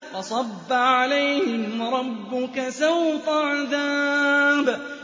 فَصَبَّ عَلَيْهِمْ رَبُّكَ سَوْطَ عَذَابٍ